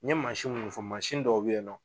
N ye mansin mu fɔ mansin dɔw bɛ ye nɔ.